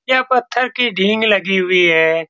यह पत्थर की ढिंग लगी हुई है।